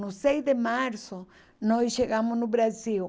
No seis de março, nós chegamos no Brasil.